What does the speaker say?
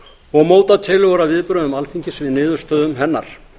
og móta tillögur að viðbrögðum alþingis við niðurstöðum hennar